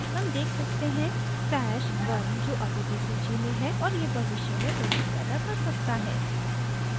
हम देख सकते हैं stash @{1} जो अभी भी सूची में है और यह भविष्य में उलझन पैदा कर सकता है